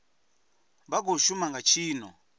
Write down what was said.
vha khou shuma nga tshino